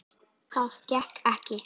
Það gekk ekki